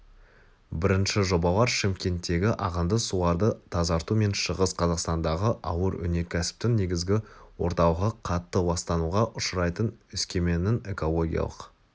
бірінші жобалар шымкенттегі ағынды суларды тазарту мен шығыс қазақстандағы ауыр өнеркәсіптің негізгі орталығы қатты ластануға ұшырайтын өскеменнің экологиялық